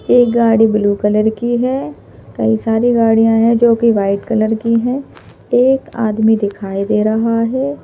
एक गाड़ी blue colour की है कई सारी गाड़ियां हैं जो कि वाइट कलर की हैं एक आदमी दिखाई दे रहा है।